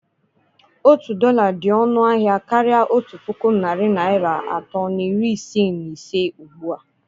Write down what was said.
Otu dọla dị ọnụ ahịa karịa otu puku narị naira atọ na iri isii na ise ugbu a.